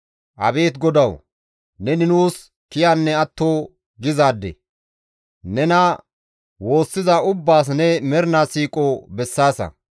Abeet Godawu! Neni nuus kiyanne atto gizaade; nena woossiza ubbaas ne mernaa siiqo bessaasa.